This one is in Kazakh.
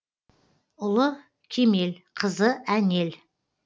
ұлы кемел қызы әнел